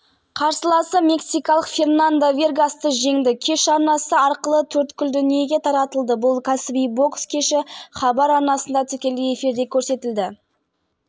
алматы тамыз қаз әлемнің басты мұнай биржаларында өткен сауда қортындысында әлем рыногындағы маркалы мұнай бағасы түсті деп хабарлайды лондон және нью-йорк